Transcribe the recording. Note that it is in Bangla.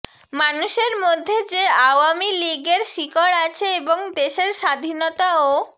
মানুষের মধ্যে যে আওয়ামী লীগের শিকড় আছে এবং দেশের স্বাধীনতা ও